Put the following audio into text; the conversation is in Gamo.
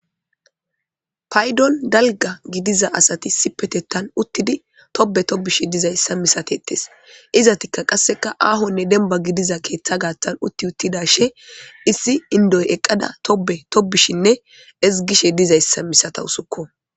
Payidon daliga gidiza asati issipe utidi tobe tobishe dizayisa misatetes izatika qasi ahone deniba gididasan utidashin issi inidoy eqada tobe tobishine eqizaysa misatawusuko